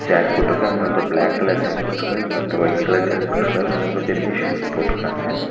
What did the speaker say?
Jack போட்ருக்காரு இன்னொருத்தர் black colour jack போட்ருக்காரு இன்னொருத்தர் ஒயிட் கலர் ஜாக் போட்ருக்காரு மூணு பேருமே ஷூஸ் போட்ருக்காங்க.